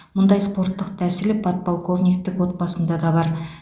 мұндай спорттық тәсіл подполковниктің отбасында да бар